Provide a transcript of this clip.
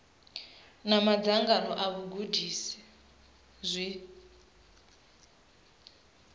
na madzangano a vhagudisi zwi